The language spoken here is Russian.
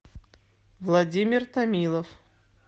владимир томилов